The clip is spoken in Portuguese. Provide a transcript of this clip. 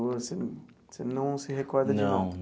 Você não você não se recorda de nada? Não.